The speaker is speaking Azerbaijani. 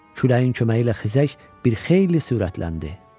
Küləyin köməyi ilə xizək bir xeyli sürətləndi.